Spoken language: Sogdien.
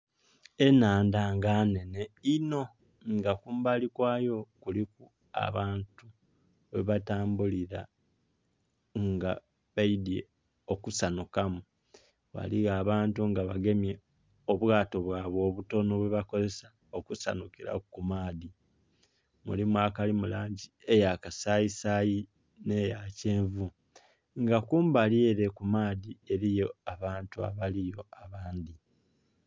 Enhandha nga nnhene inho nga kumbali kwayo kuliku abantu ghe batambulila nga baidhye okusanhukamu. Ghaligho abantu nag bagemye obwato bwaibwe obutonho bwe bakozesa okusanhukilaku ku maadhi, mulimu akalimu langi eya kasayi sayi nhe ya kyenvu nga kumbali ere ku maadhi eriyo abantu abaliyo abangi.